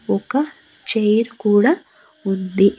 ఒక చైర్ కూడా ఉంది.